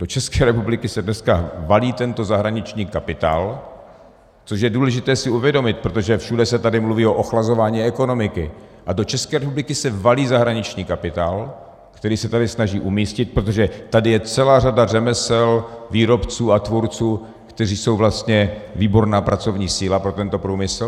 Do České republiky se dneska valí tento zahraniční kapitál, což je důležité si uvědomit, protože všude se tady mluví o ochlazování ekonomiky, a do České republiky se valí zahraniční kapitál, který se tady snaží umístit, protože tady je celá řada řemesel, výrobců a tvůrců, kteří jsou vlastně výborná pracovní síla pro tento průmysl.